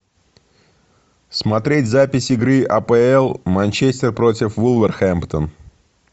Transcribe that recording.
смотреть запись игры апл манчестер против вулверхэмптон